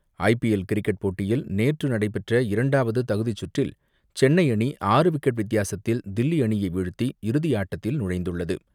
IPL cricket போட்டியில் நேற்று நடைபெற்ற இரண்டாவது தகுதிச் சுற்றில் சென்னை அணி ஆறு விக்கெட் வித்தியாசத்தில் தில்லி அணியை வீழ்த்தி இறுதியாட்டத்தில் நுழைந்துள்ளது.